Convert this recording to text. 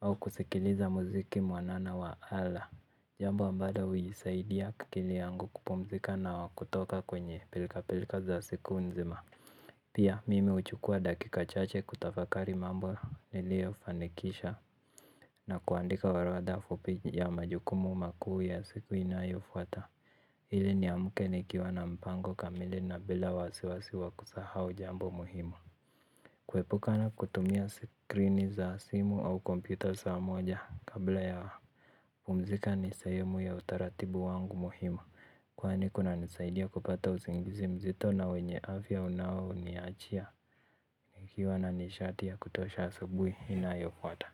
au kusikiliza mziki mwanana wa ala. Jambo ambalo huisaidia akili yangu kupumzika na kutoka kwenye pilka pilka za siku nzima. Piaimi huchukua dakika chache kutafakari mambo niliyofanikisha na kuandika orodha ya majukumu makuu ya siku inayofuata ili niamke nikiwa na mpango kamili na bila wasiwasi wa kusahau jambo muhimu. Kuepukana kutumia skrini za simu au kompyuta saa moja kabla ya kupumzika ni sahemu ya utaratibu wangu muhimu. Kwani kunanisaidia kupata usingizi mzito na wenye afya unaoniachia nikiwa na nishati ya kutosha asubuhi inayofuata.